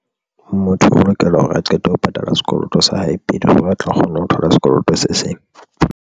Motho o lokela hore a qete ho patala sekoloto sa hae pele hore a tla kgona ho thola sekoloto se seng.